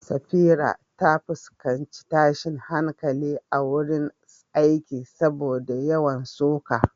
Safira ta fuskanci tashin hankali a wurin aiki saboda yawan suka.